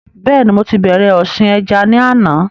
Bẹ́ẹ̀ni mo ti bẹ̀rẹ̀ ọ̀sìn ẹja ni àná